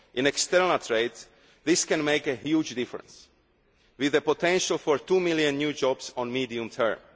world. In external trade this can make a huge difference, with the potential for 2 million new jobs in the medium